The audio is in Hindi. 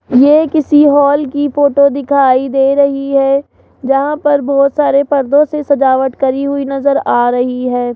ये किसी हॉल की फोटो दिखाई दे रही है जहां पर बहोत सारे परदों से सजावट करी हुई नजर आ रही है।